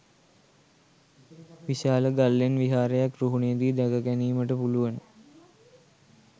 විශාල ගල්ලෙන් විහාරයක් රුහුණේ දී දැක ගැනීමට පුළුවන.